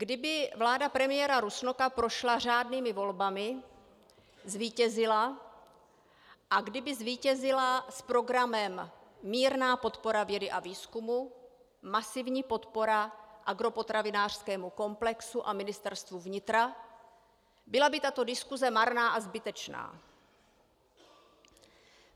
Kdyby vláda premiéra Rusnoka prošla řádnými volbami, zvítězila a kdyby zvítězila s programem mírná podpora vědy a výzkumu, masivní podpora agropotravinářskému komplexu a Ministerstvu vnitra, byla by tato diskuse marná a zbytečná.